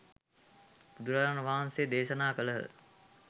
බුදුරාජාණන් වහන්සේ දේශනා කළහ.